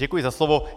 Děkuji za slovo.